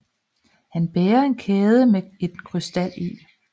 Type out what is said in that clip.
Han bærer en kæde med en krystal i